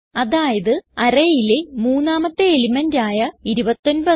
അതായത് arrayയിലെ മൂന്നാമത്തെ എലിമെന്റ് ആയ 29